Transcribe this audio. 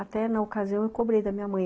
Até na ocasião eu cobrei da minha mãe.